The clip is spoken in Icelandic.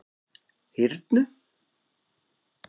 Hyrnu